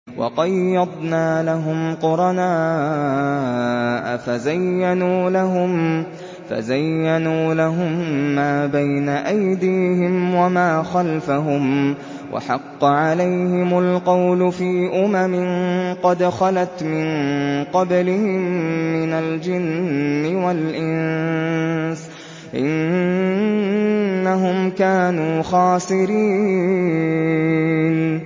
۞ وَقَيَّضْنَا لَهُمْ قُرَنَاءَ فَزَيَّنُوا لَهُم مَّا بَيْنَ أَيْدِيهِمْ وَمَا خَلْفَهُمْ وَحَقَّ عَلَيْهِمُ الْقَوْلُ فِي أُمَمٍ قَدْ خَلَتْ مِن قَبْلِهِم مِّنَ الْجِنِّ وَالْإِنسِ ۖ إِنَّهُمْ كَانُوا خَاسِرِينَ